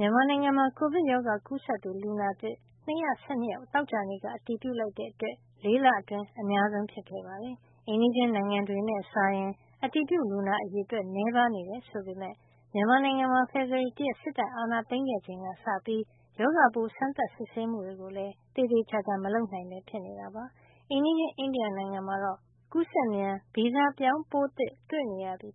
မြန်မာနိုင်ငံမှာ ကိုဗစ်ရောဂါ ကူးစက်သူ လူနာသစ် ၂၁၂ ယောက် သောကြာနေ့က အတည်ပြုလိုက်တဲ့အတွက် ၄ လအတွင်း အများဆုံးဖြစ်ခဲ့ပါတယ်။ အိမ်နီးချင်း နိုင်ငံတွေနဲ့စာရင် အတည်ပြုလူနာ အရေအတွက် နည်းပါးနေတယ် ဆိုပေမဲ့ မြန်မာနိုင်ငံမှာ ဖေဖေါ်ဝါရီ ၁ ရက် စစ်တပ်အာဏာသိမ်းခဲ့ချိန်ကစပြီး ရောဂါပိုး စမ်းသပ်စစ်ဆေးမှုတွေကိုလည်း သေသေချာချာ မလုပ်နိုင်ပဲ ဖြစ်နေတာပါ။ အိမ်နီးချင်း အိန္ဒိယနိုင်ငံမှာတော့ ကူးစက်မြန်ဗီဇပြောင်း ပိုးသစ်တွေ့နေရပြီး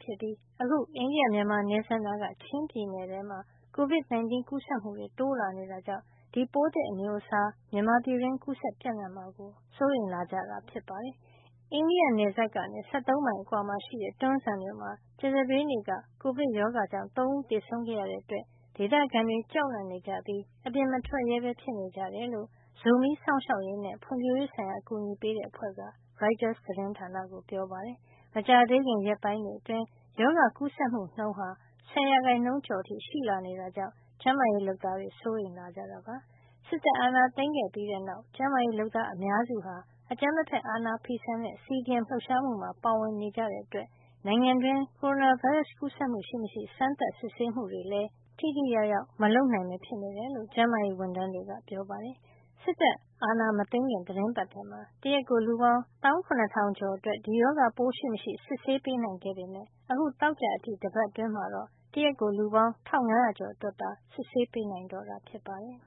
အခု အိန္ဒိယ - မြန်မာနယ်စပ်နားက ချင်းပြည်နယ်မှာ Covid 19 ကူးစက်မှု တိုးလာနေတာကြောင့် ဒီပိုးသစ်အမျိုးအစား မြန်မာပြည်တွင်း ကူးစက်ပြန့်နှံ့မှာကို စိုးရိမ်လာကြတာ ဖြစ်ပါတယ်။ အိန္ဒိယနယ်စပ်ကနေ ၁၃ မိုင်အကွာမှာရှိတဲ့ တွန်းဇံမြို့မှာ ကြာသပတေးနေ့က ကိုဗစ်ရောဂါကြောင့် ၃ ဦးသေဆုံးခဲ့ရတဲ့ အတွက် ဒေသခံတွေ ကြောက်လန့်နေကြပြီး အပြင်မထွက်ရဲပဲ ဖြစ်နေကြတယ်လို့ ဇိုမီးစောင့်ရှောက်ရေးနဲ့ ဖွံ့ဖြိုးရေးဆိုင်ရာ အကူညီပေးနေတဲ့ အဖွဲ့က ပြောကြောင်း ရိုက်တာသတင်းမှာ ဖေါ်ပြပါတယ်။ မကြာသေးခင် ရက်တွေအတွင်း ရောဂါကူးစက်မှုနှုန်းဟာ ၁၀ ရာခိုင်နှုန်းကျော်အထိ ရှိလာနေတာကြောင့်လည်း ကျန်းမာရေးလုပ်သားတွေ စိုးရိမ်နေကြပါတယ်။ စစ်တပ်အာဏာသိမ်းပြီးတဲ့ နောက်မှာ ကျန်းမာရေးလုပ်သားအများစုက အကြမ်းမဖက်အာဏာဖီဆန်တဲ့ CDM လှုပ်ရှားမှုမှာ ပါဝင်နေကြတာတေကြာင့် နိုင်ငံတွင်း ကိုရိုနာဗိုင်းရပ်စ်ကူးစက်မှု ရှိမရှိ စမ်းသပ်စစ်ဆေးမှုတွေလည်း ထိထိရောက်ရောက် မလုပ်နိုင်ပဲဖြစ်နေတယ်လို့ ကျန်းမာရေးဝန်ထမ်းတွေက ပြောပါတယ်။ စစ်တပ်အာဏာမသိမ်းခင်က သီတင်းပတ်ထဲမှာ တရက်ကိုလူပေါင်း ၁၇ ၀၀၀ ကျော် အတွက် ဒီရောဂါပိုး ရှိမရှိ စစ်ဆေးပေးနိုင်ခဲ့ပေမယ့် အခု သောကြာအထိ တပတ်အတွင်းမှာတော့ တရက်ကို လူပေါင်း ၁၅၀၀ ကျော်အတွက်သာ စစ်ဆေးပေးနိုင်တော့တာ ဖြစ်ပါတယ်